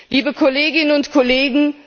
Liebe Kolleginnen und Kollegen!